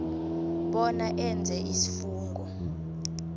bona enze isifungo